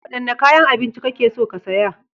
Wadanne kayan abinci kake so ka saya?